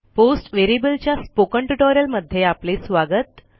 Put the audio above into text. post variable च्या spoken ट्युटोरियलमध्ये आपले स्वागत